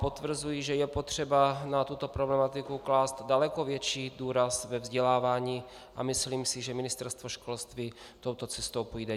Potvrzuji, že je potřeba na tuto problematiku klást daleko větší důraz ve vzdělávání, a myslím si, že Ministerstvo školství touto cestou půjde.